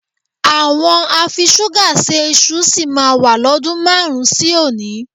Àwọn afiṣúgà se iṣu sì máa wà lọ́dun márùn-ún sí òní